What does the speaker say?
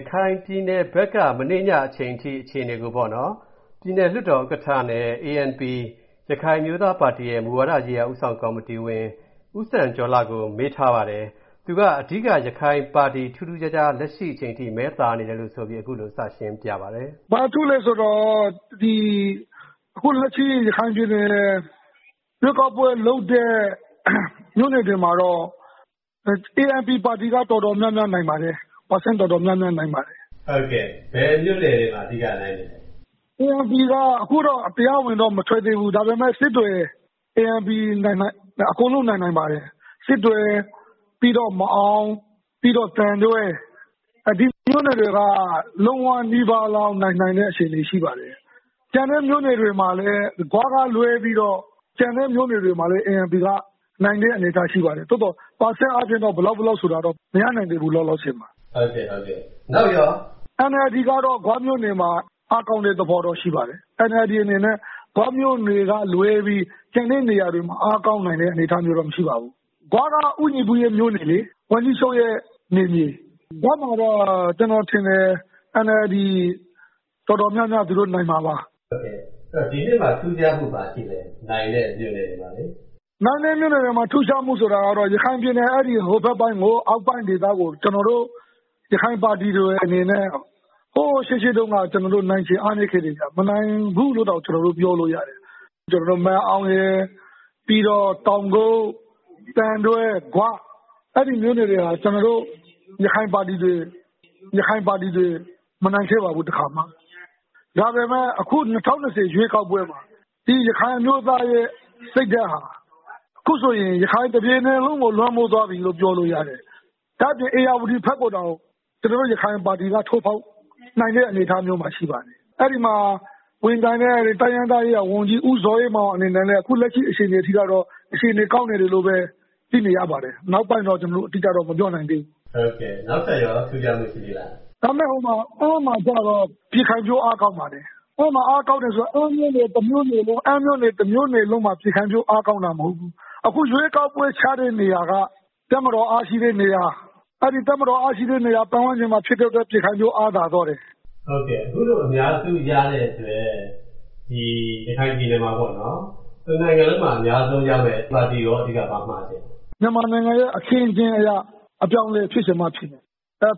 ရခိုင်ပြည်နယ်ဘက်က မနေ့ညအထိ အခြေအနေကို ပြည်နယ်လွှတ်တော်ဥက္ကဋ္ဌနဲ့ ANP ရခိုင်အမျိုးသားပါတီရဲ့ မူဝါဒရေးရာ ဦးဆောင်ကော်မတီဝင် ဦးစံကျော်လှကို ကိုဝင်းမင်းက ဆက်သွယ်မေးမြန်းရာမှာ သူက အဓိက ရခိုင်ပါတီ ထူးထူးခြားခြား လက်ရှိအချိန်ထိ မဲသာနေတယ်ဆိုပြီး အခုလို စရှင်းပြပါတယ်။ “ဘာထူးလဲဆိုတော့ အခုလက်ရှိ ရခိုင်ပြည်နယ် ရွေးကောက်ပွဲလုပ်တဲ့ မြို့နယ်တွေမှာတော့ ANP ပါတီက တော်တော်များများ နိုင်ပါတယ်။ ရာခိုင်နှုန်း တော်တော်များများ နိုင်ပါတယ်။” ဘယ်မြို့နယ်တွေမှာ အဓိကနိုင်လဲ။ “ANP က အခု တရားဝင်တော့ မထွက်သေးဘူး။ ဒါပမေယ့် စစ်တွေ ANP အကုန်လုံး နိုင်နိုင်ပါတယ်။ စစ်တွေ၊ မာန်အောင်၊ သံတွဲ ဒီမြို့နယ်တွေက လုံးဝနီးပါးလောက် နိုင်နိုင်တဲ့ အခြေအနေ ရှိပါတယ်။ ကျန်တဲ့မြို့နယ်တွေမှာလည်း ဂွကလွဲပြီးတော့ ကျန်တဲ့မြို့နယ်တွေမှာလည်း ANP က နိုင်တဲ့အနေအထား ရှိပါတယ်။ သို့သော် ရာခိုင်နှုန်းအားဖြင့် ဘယ်လောက် ဘယ်လောက်ဆိုတာတော့ မရနိုင်သေးဘူး လောလောဆယ်မှာ။” ဟုတ်ကဲ့၊ နောက်ရော။ “NLD ကတော့ ဂွမြို့နယ်မှာ အားကောင်းတဲ့သဘောတော့ ရှိပါတယ်။ NLD အနေနဲ့ ဂွမြို့နယ်ကလွဲပြီး ကျန်တဲ့နေရာတွေမှာ အားကောင်းနိုင်တဲ့ အနေအထားမျိုးတော့ မရှိပါဘူး။ ဂွက ဦးညီပုရဲ့ မြို့နယ်လေ။ ဝန်ကြီးချုပ်ရဲ့ နယ်မြေ။ ဂွမှာတော့ ကျေနာ်ထင်တယ်၊ NLD တော်တော်များများ နိုင်မှာပါ။” ဒီနှစ်က ထူးခြားမှု ဘာရှိလဲ။ နိုင်တဲ့မြို့နယ်တွေမှာ။ “နိုင်တဲ့မြို့နယ်တွေမှာ ထူးခြားမှုဆိုတာကတော့ ရခိုင်ပြည်နယ် အောက်ပိုင်းဒေသကို ကျနော်တို့ ရခိုင်ပါတီတွေအနေနဲ့ ဟို ရှေးရှေးတုန်းက နိုင်ခြေ အားနည်းခဲ့တယ်။ မနိုင်ဘူးလို့တောင် ပြောလို့ရတယ်။ မာန်အောင်၊ တောင်ကုတ်၊ သံတွဲ၊ ဂွ အဲဒီမြို့နယ်တွေဟာ ကျနော်တို့ ရခိုင်ပါတီတွေ မနိုင်ခဲ့ပါဘူး တခါမှ။ ဒါပေမယ့် အခု ၂၀၂၀ ရွေးကောက်ပွဲမှာ ရခိုင်အမျိုးသားရဲ့ စိတ်ဓာတ်ဟာ အခုဆိုရင် ရခိုင်တပြည်နယ်လုံးကို လွှမ်းမိုးသွားပြီလို့ ပြောလို့ရတယ်။ ဒါ့အပြင် ဧရာဝတီဘက်ကိုတောင် ကျနော်တို့ ရခိုင်ပါတီက ထိုးဖောက်နိုင်တဲ့ အနေအထားမျိုးမှာ ရှိပါတယ်။ အဲဒီမှာ ဝင်ပြိုင်တဲ့ တိုင်းရင်းသားရေးရာဝန်ကြီး ဦးဇော်အေးမောင် အနေနဲ့လည်း အခုလက်ရှိ အခြေအနေထိကတော့ အြခေအနေ ကောင်းနေတယ်လို့ပဲ သိရပါတယ်။ နောက်ပိုင်းတော့ ကျနော်တို့ အတိအကျ မပြောနိုင်သေးဘူး။” နောက်ထပ်ရော ထူးခြားမှုရှိသေးလား။ “ဒါပေမယ့် အမ်းမှာကျတော့ ပြည်ခိုင်ဖြိုး အားကောင်းပါတယ်။ အားကောင်းတယ်ဆိုတာ အမ်းမြို့နယ် တမြို့နယ်လုံးမှာ ပြည်ခိုင်ဖြိုး အားကောင်းတာမဟုတ်ဘူး။ အခု ရွေးကောက်ပွဲချတဲ့နေရာက တပ်မတော် အားရှိတဲ့နေရာ၊ အဲဒီ တပ်မတော် အားရှိတဲ့နေရာ ပတ်ဝန်းကျင်မှာ ဖြစ်တဲ့အတွက် ပြည်ခိုင်ဖြိုး အားသာသွားတယ်။” အခုလို အများစုရတဲ့အတွက် ဒီ ရခိုင်ပြည်နယ်မှာ တနိုင်ငံလုံးမှာ အများဆုံးရမယ့် ပါတီကိုရော အဓိက ဘာမှာချင်လဲ။ “မြန်မာနိုင်ငံရဲ့ အခင်းအကျင်းအရ အပြောင်းအလဲ ဖြစ်ချင်မှဖြစ်မယ်